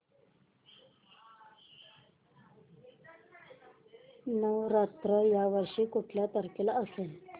नवरात्र या वर्षी कुठल्या तारखेला असेल